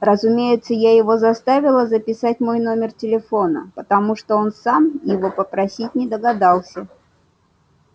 разумеется я его заставила записать мой номер телефона потому что он сам его попросить не догадался